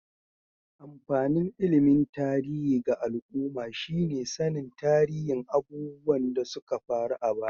Amfanin ilimin tarihi ga al'umma shi ne sannin tarihin abubuwan da suka faru a baya.